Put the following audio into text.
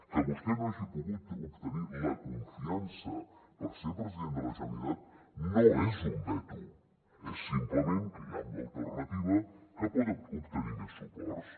que vostè no hagi pogut obtenir la confiança per ser president de la generalitat no és un veto és simplement que hi ha una alternativa que pot obtenir més suports